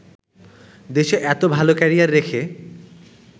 দেশে এতো ভালো ক্যারিয়ার রেখে